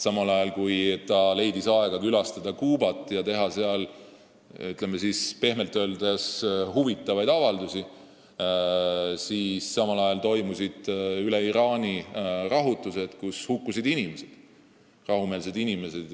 Samal ajal, kui ta leidis aega külastada Kuubat ja teha seal pehmelt öeldes huvitavaid avaldusi, toimusid üle Iraani rahutused, kus hukkusid rahumeelsed inimesed.